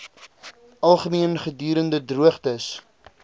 algemeen gedurende droogtes